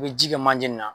I bɛ ji kɛ manje in na